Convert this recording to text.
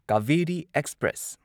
Kaveri express